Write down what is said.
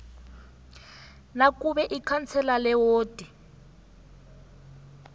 nakube ikhansela lewodi